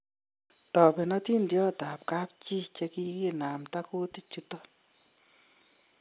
Taben atindoniot ab kapchi che kikinamda kutiik chuton